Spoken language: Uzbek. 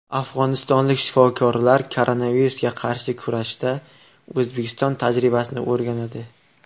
Afg‘onistonlik shifokorlar koronavirusga qarshi kurashda O‘zbekiston tajribasini o‘rganadi.